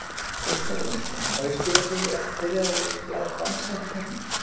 Óskar Jónasson, má ég spyrja þig, ert þú byrjaður að læra að dansa eftir keppnina?